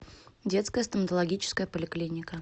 детская стоматологическая поликлиника